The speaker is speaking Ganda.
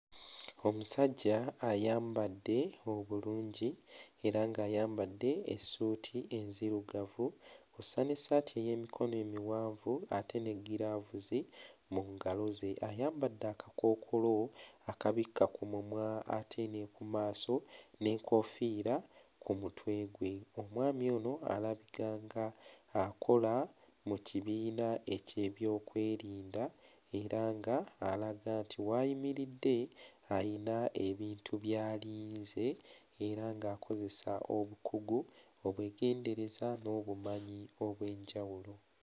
Omusajja ayambadde obulungi era ng'ayambadde essuuti enzirugavu kw'ossa n'essaati ey'emikono emiwanvu ate ne giraavuzi mu ngalo ze. Ayambadde akakookolo akabikka ku mumwa ate ne ku maaso n'enkoofiira ku mutwe gwe. Omwami ono alaga ng'akola mu kibiina eky'ebyokwerinda era ng'alaga nti w'ayimiridde ayina ebintu by'alinze era ng'akozesa obukugu, obwegendereza n'obumanyi obw'enjawulo.